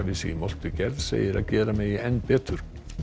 sig í moltugerð segir að gera megi enn betur